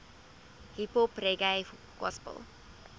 hiphop reggae gospel